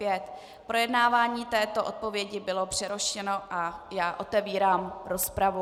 Projednávání této odpovědi bylo přerušeno a já otevírám rozpravu.